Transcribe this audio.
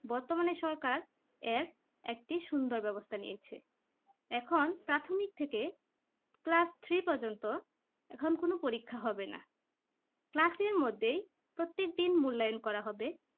বর্তমানে সরকার এক একটি সুবিধা ব্যবস্থা নিয়েছে এখন প্রাথমিক থেকে class three পর্যন্ত এখন কোন পরীক্ষা হবে না class এর মধ্যে প্রত্যেকদিন মূল্যায়ন করা হবে